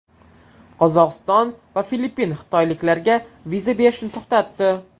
Qozog‘iston va Filippin xitoyliklarga viza berishni to‘xtatdi.